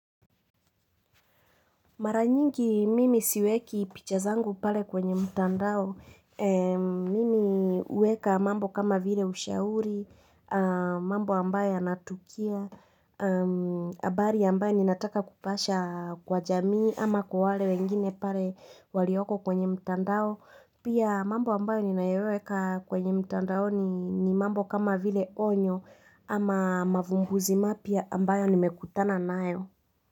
Mara nyingi mimi siweki picha zangu pale kwenye mtandao. Mimi huweka mambo kama vile ushauri, mambo ambayo yanatukia, habari ambayo ninataka kupasha kwa jamii ama kwa wale wengine pale walioko kwenye mtandao. Pia mambo ambayo ninayoweka kwenye mtandaoni mambo kama vile onyo ama mavumbuzi mapya ambayo nimekutana nayo.